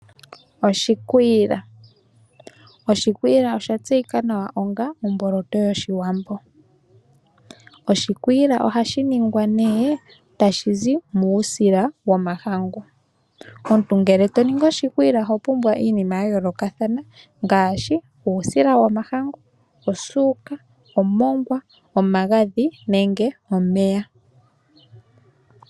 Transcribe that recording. Oshikwiila osha tseyika nawa onga omboloto yOshiwambo . Oshikwiila ohashi ningwa tashi zi muusila womahangu . Omuntu ngele toningi oshikwiila oho pumbwa iinima yayoolokathana ngaashi uusila womahangu , osuuka, omongwa, omagadhi nomeya.